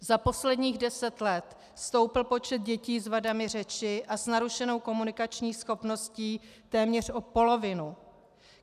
Za posledních deset let stoupl počet dětí s vadami řeči a s narušenou komunikační schopností téměř o polovinu.